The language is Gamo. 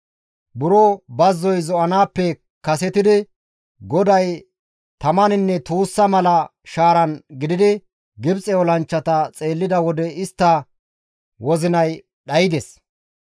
Buro bazzoy zo7anaappe kasetidi GODAY tamaninne tuussa mala shaaran gididi, Gibxe olanchchata xeellida wode istta wozinay dhaydes.